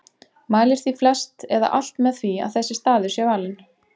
Mælir því flest eða alt með því að þessi staður sé valinn.